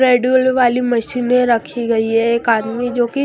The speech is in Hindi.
ट्रेड मिल वाली मशीने रखी गई है एक आदमी जो कि --